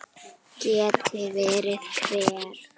Geti verið hver?